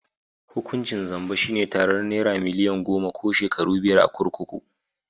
Hukuncin zamba shi ne tarar nera milian goma ko shekaru biyar a kurkuku.